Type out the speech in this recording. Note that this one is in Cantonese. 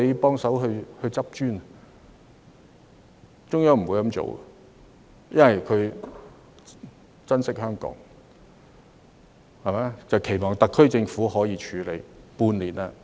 但是，中央不會這樣做，因為它珍惜香港，期望特區政府可自行處理。